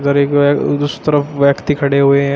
उधर एक दूसरे तरफ व्यक्ति खड़े हुए हैं।